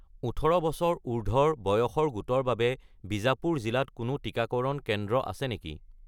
১৮+ বছৰ বয়সৰ গোটৰ বাবে বিজাপুৰ জিলাত কোনো টিকাকৰণ কেন্দ্ৰ আছে নেকি?